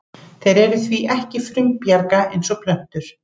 Þeir eru því ekki frumbjarga eins og plöntur.